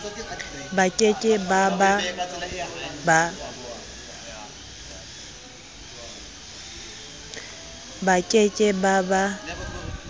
ba ke ke ba ba